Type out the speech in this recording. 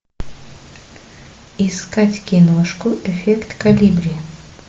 искать киношку эффект колибри